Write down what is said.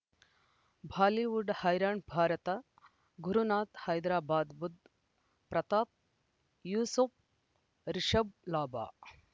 Bollywood ಹೈರಾಣ್ ಭಾರತ ಗುರುನಾಥ ಹೈದರಾಬಾದ್ ಬುಧ್ ಪ್ರತಾಪ್ ಯೂಸುಫ್ ರಿಷಬ್ ಲಾಭ